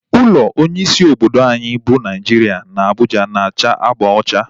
Ụlọ onye isi obodo anyị bụ Naijiria na Abuja na-acha agba ocha